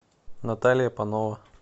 наталья панова